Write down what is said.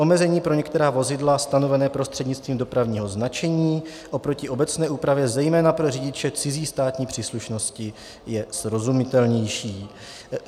Omezení pro některá vozidla stanovená prostřednictvím dopravního značení oproti obecné úpravě zejména pro řidiče cizí státní příslušnosti je srozumitelnější.